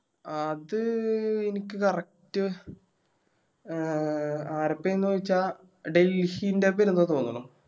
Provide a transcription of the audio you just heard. അത് എനക്ക് Correct എ ആരെപ്പെന്ന് വെച്ച ഡെയ്‌സിൻറെ തോന്നണു